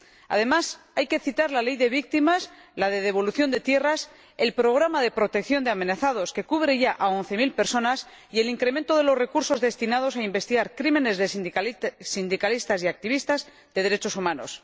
Además, hay que citar la ley de víctimas, la de devolución de tierras, el programa de protección de amenazados que cubre ya a once mil personas y el incremento de los recursos destinados a investigar los crímenes de que han sido víctimas los sindicalistas y activistas de derechos humanos.